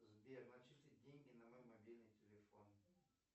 сбер начислить деньги на мой мобильный телефон